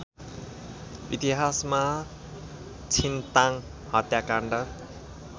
इतिहासमा छिन्ताङ हत्याकाण्ड